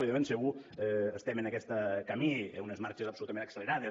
i de ben segur estem en aquest camí a unes marxes absolutament accelerades